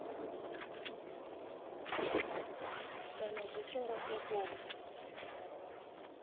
kana zwi tshi nga sokou